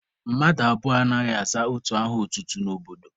Mmadụ abụọ anaghị aza otu aha otutu n'obodo.